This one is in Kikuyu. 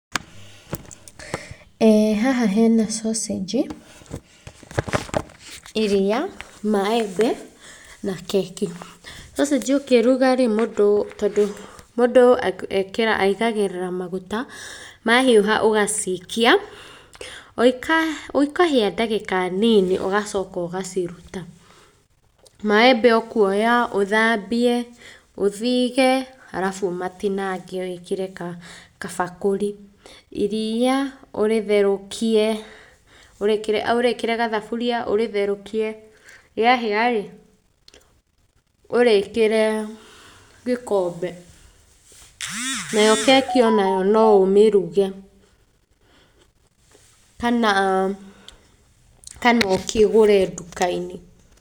Ĩĩ haha hena sausage, iria, maembe na keki. Sausage ũngĩruga rĩ, mũndũ tondũ mũndũ aigagĩrĩra maguta, mahiũha ũgacikia, o ikahĩa ndagĩka nini ũgacoka ũgaciruta. Maembe ũkuoya ũthambie, ũthige arabu ũmatinangie wĩkĩre kabakũri. Iria, ũrĩtherũkie, ũrĩkĩre gathaburia ũrĩtherũkie, rĩahĩa rĩ, ũrĩkĩre gĩkombe. Nayo keki o nayo no ũmĩruge kana ũkĩgũre nduka-inĩ.